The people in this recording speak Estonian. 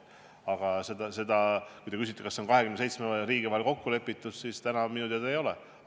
Aga kui te küsite, kas 27 riigi vahel on selles asjas kokku lepitud, siis täna minu teada ei ole.